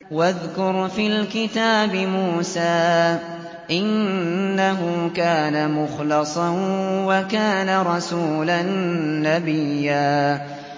وَاذْكُرْ فِي الْكِتَابِ مُوسَىٰ ۚ إِنَّهُ كَانَ مُخْلَصًا وَكَانَ رَسُولًا نَّبِيًّا